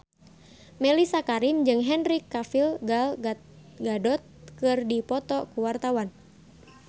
Mellisa Karim jeung Henry Cavill Gal Gadot keur dipoto ku wartawan